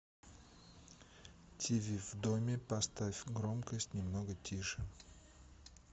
тиви в доме поставь громкость немного тише